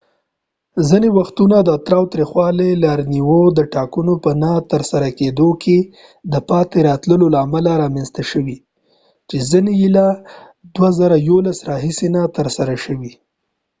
ځینې وختونه د تاوتریخوالي لاریونونه د ټاکنو په نه ترسره کیدو کې د پاتې راتلو له امله رامنځته شوې چې ځینې یې له 2011 راهیسې نه دې ترسره شوي